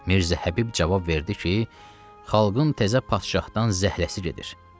Mirzə Həbib cavab verdi ki, xalqın təzə padşahdan zəhləsi gedir.